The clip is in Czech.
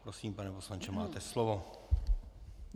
Prosím, pane poslanče, máte slovo.